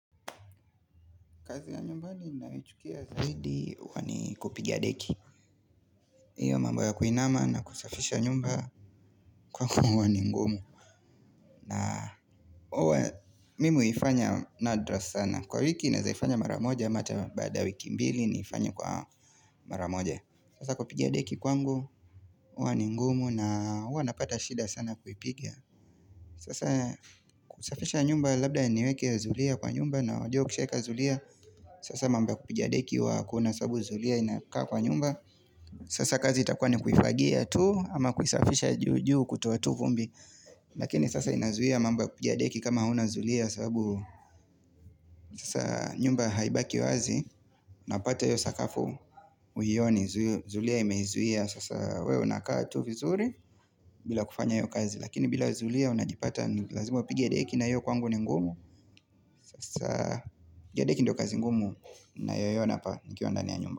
Kazi ya nyumbani ninayoichukia zaidi huwa ni kupiga deki hiyo mambo ya kuinama na kusafisha nyumba kwangu huwa ni ngumu na uwa mimi u ifanya nadra sana Kwa wiki naeza ifanya maramoja ama hata baada wiki mbili naifanya kwa maramoja Sasa kupigia deki kwa ngu uwa ni ngumu na uwa napata shida sana kuipiga Sasa kusafisha nyumba labda niweke zulia kwa nyumba na unajua ukishaeka zulia Sasa mamba kupigadeki huwa akuna sababu zulia inakaa kwa nyumba Sasa kazi itakuwa ni kuifagia tuu ama kuisafisha juju kutoa tu vumbi Lakini sasa inazuia mambo kupigadeki kama hauna zulia sababu Sasa nyumba haibaki wazi napata iyo sakafu uioni zulia imezuia Sasa wewe unakaa tu vizuri bila kufanya hio kazi Lakini bila zulia unajipata lazima upige deki naiyo kwangu ni ngumu Sasa jadeki ndio kazi ngumu na yoyona pa nkiwanda ni ya nyumba.